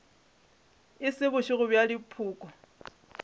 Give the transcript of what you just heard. e se bošego bja dipoko